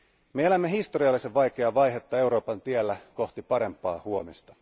Me elämme historiallisen vaikeaa vaihetta Euroopan tiellä kohti parempaa huomista.